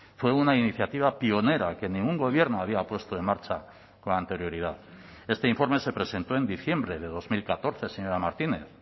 fue una iniciativa pionera que ningún gobierno había puesto en marcha con anterioridad este informe se presentó en diciembre de dos mil catorce señora martínez